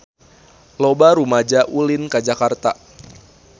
Loba rumaja ulin ka Jakarta